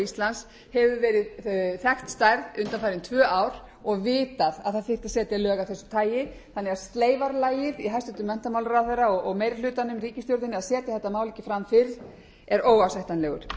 íslands hefur verið þekkt stærð og vitað að það þyrfti að setja lög af þessu tagi þannig að sleifarlagið í hæstvirtan menntamálaráðherra og meira hlutanum ríkisstjórninni að setja þetta mál ekki fram fyrr